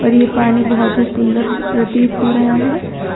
और ये पानी बहुत ही सुंदर प्रतीत हो रहा है।